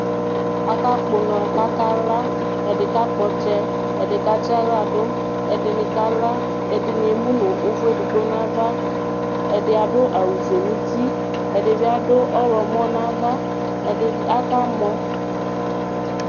Aƙaƙpɔ ʊŋɔ ƙaƙala, ɛɖɩ ƙaƙpɔ ɔtsɛ, ɛɖɩ ƙatsa ahla ɖʊ , ɛɖɩŋɩ ƙala, ɛɖɩ ému ŋʊ ʊʋu éɖɩgɓo ŋaʋa ɛɖɩ aɖʊ awu foé ŋʊtɩ Ɛɖɩɓɩ aɖu ɔwlɔmɔ ŋaʋa Aƙa mɔ